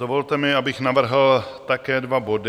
Dovolte mi, abych navrhl také dva body.